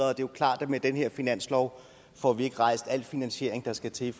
er jo klart at med den her finanslov får vi ikke rejst al den finansiering der skal til